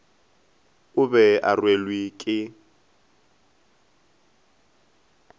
o be o rwelwe ke